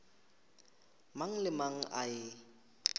mang le mang a e